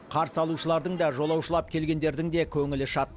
қарсы алушылардың да жолаушылап келгендердің де көңілі шат